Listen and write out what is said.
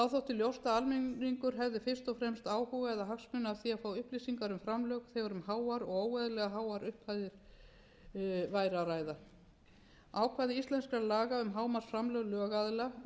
ljóst að almenningur hefði fyrst og fremst áhuga eða hagsmuni af því að fá upplýsingar um framlög þegar um háar og óeðlilega háar upphæðir væri að ræða ákvæði íslenskra laga um hámarksframlög lögaðila og